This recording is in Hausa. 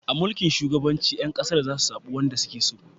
A mulkin shugabanci, 'yan kasar za su zabi wanda su ke so